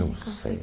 Não sei.